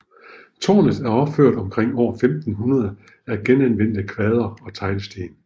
Tårnet er opført omkring år 1500 af genanvendte kvadre og teglsten